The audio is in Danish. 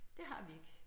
Det har vi ikke